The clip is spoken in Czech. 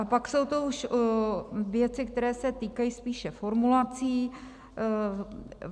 A pak jsou to už věci, které se týkají spíše formulací.